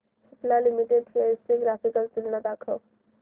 Cipla limited shares ची graphical तुलना दाखव